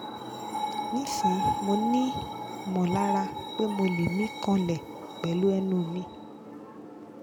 nisin mo ni mọlara pe mo le mi kanle pẹlu ẹnu mi